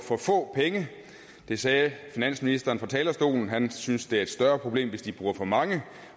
for få penge det sagde finansministeren fra talerstolen her han synes det er et større problem hvis de bruger for mange